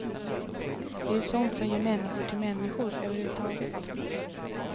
Det är ju sånt som gör människor till människor överhuvudtaget.